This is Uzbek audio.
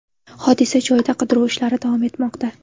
Hodisa joyida qidiruv ishlari davom etmoqda.